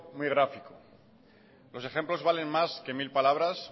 muy gráfico los ejemplos valen más que mil palabras